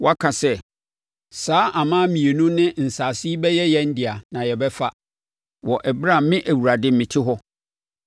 “ ‘Woaka sɛ, “Saa aman mmienu ne nsase yi bɛyɛ yɛn dea na yɛbɛfa,” wɔ ɛberɛ a me Awurade mete hɔ,